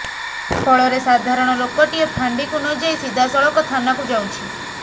ଫଳରେ ସାଧାରଣ ଲୋକଟିଏ ଫାଣ୍ଡିକୁ ନ ଯାଇ ସିଧାସଳଖ ଥାନାକୁ ଯାଉଛି